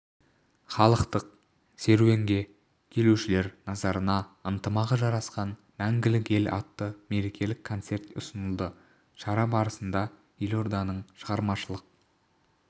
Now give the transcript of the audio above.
халықтық серуенге келушілер назарына ынтымағы жарасқан мәңгілік ел атты мерекелік концерт ұсынылды шара барысында елорданың шығармашылық